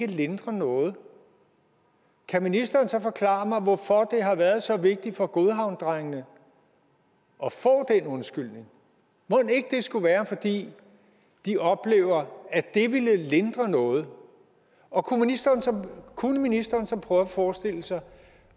lindre noget kan ministeren så forklare mig hvorfor det har været så vigtigt for godhavnsdrengene at undskyldning mon ikke det skulle være fordi de oplever at det ville lindre noget og kunne ministeren så prøve at forestille sig